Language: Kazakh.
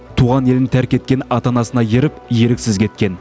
туған елін тәрк еткен ата анасына еріп еріксіз кеткен